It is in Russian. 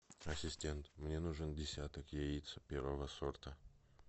ассистент мне нужен десяток яиц первого сорта